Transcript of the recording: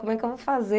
Como é que eu vou fazer?